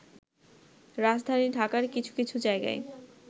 রাজধানী ঢাকার কিছু কিছু জায়গায়